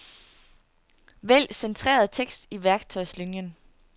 Vælg centreret tekst i værktøjslinien.